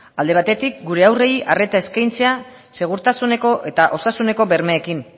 alde batetik gure haurrei arreta eskaintzea segurtasuneko eta osasuneko bermeekin